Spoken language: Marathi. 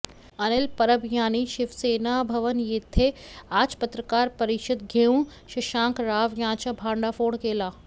अनिल परब यांनी शिवसेना भवन येथे आज पत्रकार परिषद घेऊन शशांक राव यांचा भंडाफोड केला